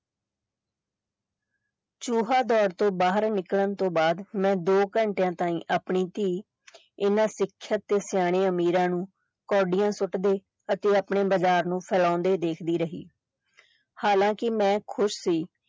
ਚੂਹਾ ਦੌੜ ਤੋਂ ਬਾਹਰ ਨਿਕਲਣ ਤੋਂ ਬਾਅਦ ਮੈਂ ਦੋ ਘੰਟਿਆਂ ਤਾਈਂ ਆਪਣੀ ਧੀ ਇਹਨਾਂ ਸਿੱਖਿਅਤ ਤੇ ਸਿਆਣੇ ਅਮੀਰਾਂ ਨੂੰ ਕੌਡੀਆਂ ਸੁੱਟਦੇ ਅਤੇ ਆਪਣੇ ਬਜ਼ਾਰ ਨੂੰ ਸਰਾਉਂਦੇ ਦੇਖਦੀ ਰਹੀ ਹਾਲਾਂਕਿ ਮੈਂ ਖੁਸ਼ ਸੀ।